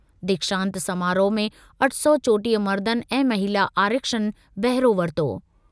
दीक्षांत समारोह में अठ सौ चोटीह मर्दनि ऐं महिला आरक्षिनि बहिरो वरितो।